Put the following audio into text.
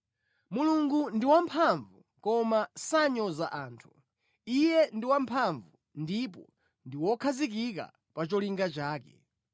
“Mulungu ndi wamphamvu, koma sanyoza anthu; Iye ndi wamphamvu, ndipo ndi wokhazikika pa cholinga chake.